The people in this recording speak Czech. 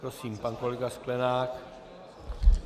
Prosím, pan kolega Sklenák.